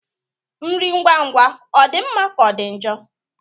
Nri ngwa ngwa ọ dị mma ka ọ dị njọ?